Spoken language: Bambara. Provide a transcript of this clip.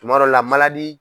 Tuma dɔ la